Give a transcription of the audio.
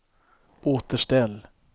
återställ